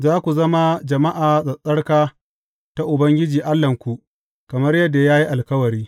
Za ku zama jama’a tsattsarka ta Ubangiji Allahnku, kamar yadda ya yi alkawari.